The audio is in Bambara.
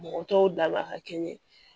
Mɔgɔ tɔw daba ka kɛ ɲɛ